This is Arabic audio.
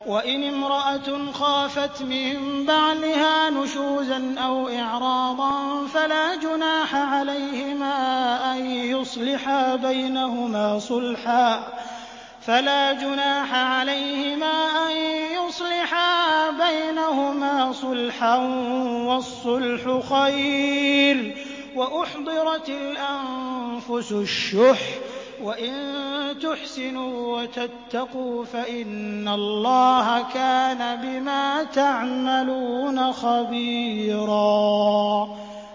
وَإِنِ امْرَأَةٌ خَافَتْ مِن بَعْلِهَا نُشُوزًا أَوْ إِعْرَاضًا فَلَا جُنَاحَ عَلَيْهِمَا أَن يُصْلِحَا بَيْنَهُمَا صُلْحًا ۚ وَالصُّلْحُ خَيْرٌ ۗ وَأُحْضِرَتِ الْأَنفُسُ الشُّحَّ ۚ وَإِن تُحْسِنُوا وَتَتَّقُوا فَإِنَّ اللَّهَ كَانَ بِمَا تَعْمَلُونَ خَبِيرًا